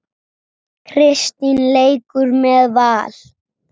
Kristín leikur með Val.